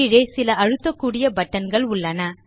கீழே சில அழுத்தக்கூடிய buttonகள் உள்ளன